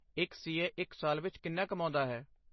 ਇੱਕ C A ਇੱਕ ਸਾਲ ਵਿੱਚ ਕਿੰਨਾ ਕਮਾਉਂਦਾ ਹੈ?